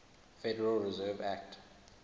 federal reserve act